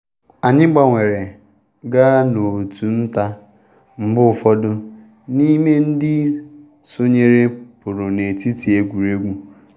Anyị gbanwere gaa n’òtù nta mgbe ụfọdụ n’ime ndị sonyere pụrụ n’etiti egwuregwu.